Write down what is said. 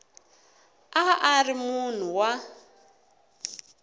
a a ri munhu wa